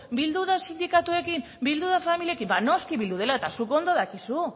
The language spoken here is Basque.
bildu da sindikatuekin bildu da familiekin ba noski bildu dela eta zuk